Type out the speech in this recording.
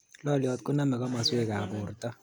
Loliot koname komaswek ab borto